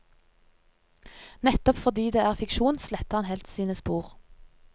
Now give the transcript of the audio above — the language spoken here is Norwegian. Nettopp fordi det er fiksjon, sletter han helst sine spor.